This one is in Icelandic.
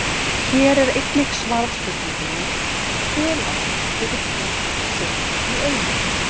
Hér er einnig svarað spurningunni: Hve langt getur fíll synt í einu?